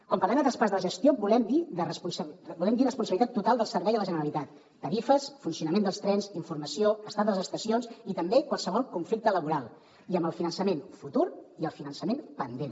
quan parlem de traspàs de la gestió volem dir responsabilitat total del servei a la generalitat tarifes funcionament dels trens informació estat de les estacions i també qualsevol conflicte laboral i amb el finançament futur i el finançament pendent